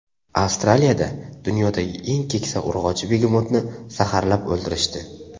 Avstraliyada dunyodagi eng keksa urg‘ochi begemotni zaharlab o‘ldirishdi.